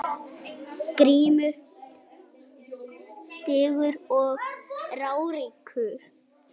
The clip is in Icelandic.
GRÍMUR: Digur og ráðríkur